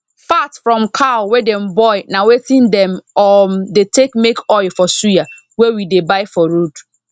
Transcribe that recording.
fat from cow wey dem boil na wetin dem um dey take make oil for suya wey we dey buy for road